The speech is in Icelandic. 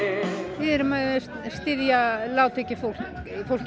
við erum að styðja lágtekjufólk fólkið